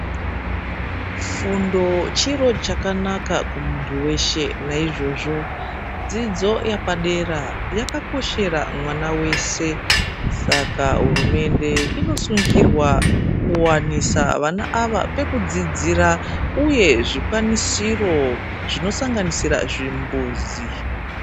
Fundo chiro chakanaka kumuntu veshe. Naizvozvo dzidzo yepadera yakakoshera mwana veshe, saka hurumende inosungirwa kuvanisa vana ava pekudzidzira, uye zvikwanisiro zvinosanganisa zvimbuzi.